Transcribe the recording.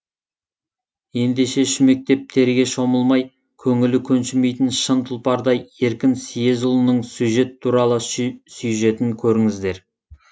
ендеше шүмектеп терге шомылмай көңілі көншімейтін шын тұлпардай еркін съезұлының сюжет туралы сюжетін көріңіздер